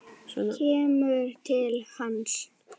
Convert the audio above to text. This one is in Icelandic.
Kemur til hans.